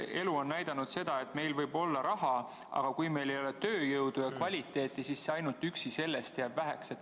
Elu on näidanud seda, et meil võib olla raha, aga kui meil ei ole tööjõudu ja kvaliteeti, siis ainult rahast jääb väheks.